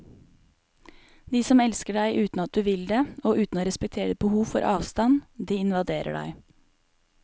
De som elsker deg uten at du vil det, og uten å respektere ditt behov for avstand, de invaderer deg.